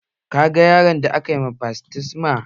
Kaga yaron da aka ma baftisma?